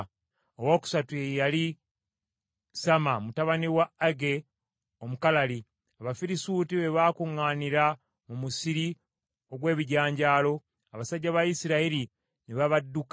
Owookusatu ye yali Samma mutabani wa Agee Omukalali. Abafirisuuti bwe baakuŋŋaanira mu musiri ogw’ebijanjaalo, abasajja ba Isirayiri ne babadduka,